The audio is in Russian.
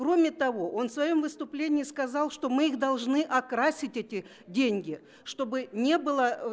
кроме того он в своём выступлении сказал что мы их должны окрасить эти деньги чтобы не было ээ